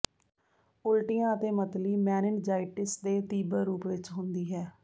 ਉਲਟੀਆਂ ਅਤੇ ਮਤਲੀ ਮੇਨਿਨਜਾਈਟਿਸ ਦੇ ਤੀਬਰ ਰੂਪ ਵਿੱਚ ਹੁੰਦੀ ਹੈ